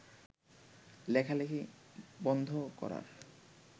লেখালেখি বন্ধ করার